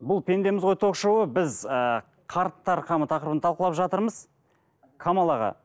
бұл пендеміз ғой ток шоуы біз ыыы қарттар қамы тақырыбын талқылап жатырмыз камал аға